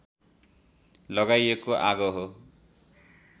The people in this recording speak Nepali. लगाइएको आगो हो